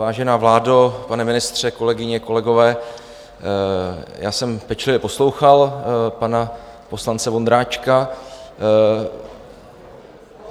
Vážená vládo, pane ministře, kolegyně, kolegové, já jsem pečlivě poslouchal pana poslance Vondráčka...